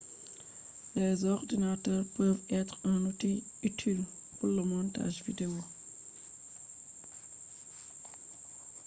komfutaji hande be do naftira dum gam be vo’ina hotoji be bidiyoji